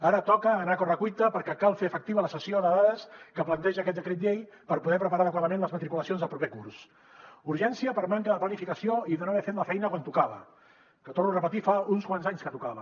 ara toca anar a correcuita perquè cal fer efectiva la cessió de dades que planteja aquest decret llei per poder preparar adequadament les matriculacions del proper curs urgència per manca de planificació i de no haver fet la feina quan tocava que ho torno a repetir fa uns quants anys que tocava